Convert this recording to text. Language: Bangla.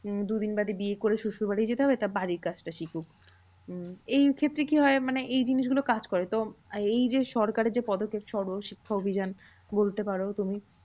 উম দুদিন বাদে বিয়ে করে শশুর বাড়ি যেতে হবে তা বাড়ির কাজটা শিখুক। উম এই ক্ষেত্রে কি হয়? মানে এই জিনিসগুলো কাজ করে তো, এই যে সরকারের যে পদক্ষেপ সর্বশিক্ষা অভিযান বলতে পারো তুমি